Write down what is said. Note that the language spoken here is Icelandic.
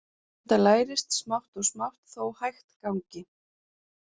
Þetta lærist smátt og smátt þó hægt gangi.